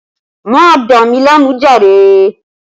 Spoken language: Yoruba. Má dà mí láàmú jàre!